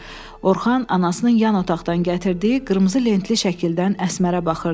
Orxan anasının yan otaqdan gətirdiyi qırmızı lentli şəkildən Əsmərə baxırdı.